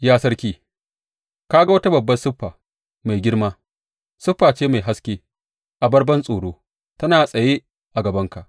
Ya sarki, ka ga wata babbar siffa, mai girma, siffa ce mai haske, abar bantsoro tana tsaye a gabanka.